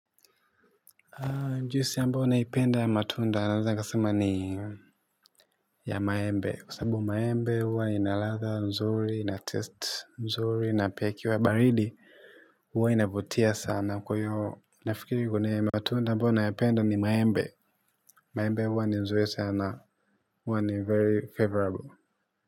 Jusi ambao naipenda ya matunda naeza kasema ni ya maembe. Kwa sabu maembe huwa inaladha nzuri, inatest nzuri, napia ikiwa baridi huwa inavutia sana. Kwa iyo nafikiri kwa nini ya matunda ambayo nayapenda ni maembe. Maembe huwa ni nzuri sana. Huwa ni very favorable.